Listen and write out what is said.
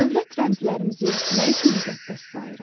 Dövlət rəmzlərimizi nə üçün müqəddəs sayırıq?